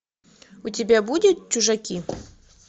у тебя будет чужаки